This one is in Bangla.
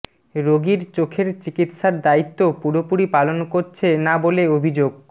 রোগীর চোখের চিকিৎসার দায়িত্ব পুরোপুরি পালন করছে না বলে অভিযোগ